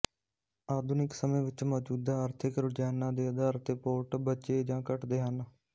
ਆਧੁਨਿਕ ਸਮੇਂ ਵਿੱਚ ਮੌਜੂਦਾ ਆਰਥਿਕ ਰੁਝਾਨਾਂ ਦੇ ਆਧਾਰ ਤੇ ਪੋਰਟ ਬਚੇ ਜਾਂ ਘੱਟਦੇ ਹਨ